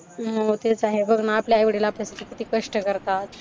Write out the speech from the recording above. हम्म तेच आहे बघ ना, आपले आई-वडील आपल्यासाठी किती कष्ट करतात